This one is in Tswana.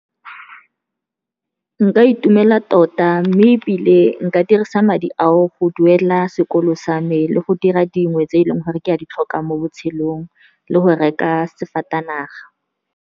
Nka itumela tota, mme ebile nka dirisa madi ao go duela sekolo sa me le go dira dingwe tse e leng gore ke a di tlhoka mo botshelong, le go reka sefatanaga.